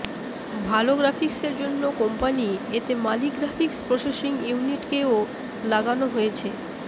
ভাল গ্রাফিক্স এর জন্য কোম্পানি এতে মালি গ্রাফিক্স প্রসেসিং ইউনিট কে ও লাগানো হয়েছে